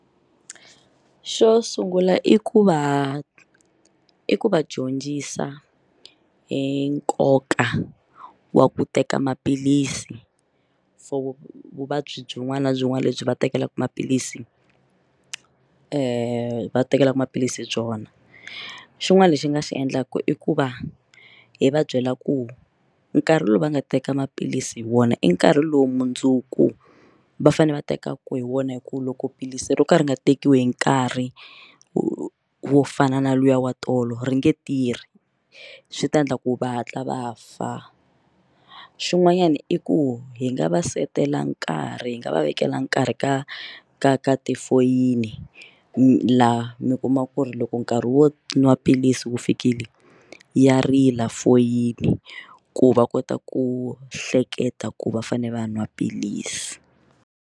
Xo sungula i ku va i ku va dyondzisa hi nkoka wa ku teka maphilisi for vuvabyi byin'wana na byin'wana lebyi va tekelaka maphilisi va tekelaka maphilisi byona xin'wana lexi nga xi endlaka i ku va hi va byela ku nkarhi lowu va nga teka maphilisi hi wona i nkarhi lowu mundzuku va fanele va tekaka hi wona hi ku loko philisi ro ka ri nga tekiwi hi nkarhi wo wo fana na luya wa tolo ri nge tirhi swi ta endla ku va hatla va fa xin'wanyana i ku hi nga va setela nkarhi hi nga va vekela nkarhi ka ka ka tifoyini laha mi kumaka ku ri loko nkarhi wo nwa philisi wu fikile ya rila foyini ku va kota ku hleketa ku va fanele va nwa philisi.